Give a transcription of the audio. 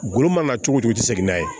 Golo mana cogo cogo i ti se n'a ye